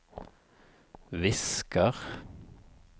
visker